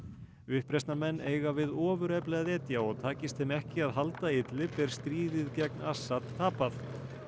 uppreisnarmenn eiga við ofurefli að etja og takist þeim ekki að halda er stríðið gegn Assad tapað